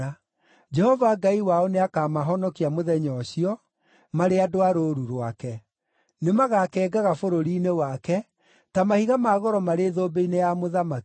Jehova Ngai wao nĩakamahonokia mũthenya ũcio, marĩ andũ a rũũru rwake. Nĩmagakengaga bũrũri-inĩ wake, ta mahiga ma goro marĩ thũmbĩ-inĩ ya mũthamaki.